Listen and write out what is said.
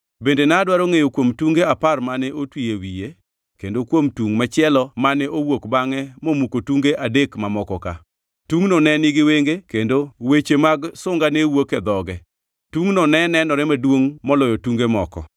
Bende nadwaro ngʼeyo kuom tunge apar mane otwi e wiye kendo kuom tungʼ machielo mane owuok bangʼe momuko tunge adek mamokoka; tungʼno ne nigi wenge kendo weche mag sunga ne wuok e dhoge. Tungʼno ne nenore maduongʼ moloyo tunge moko.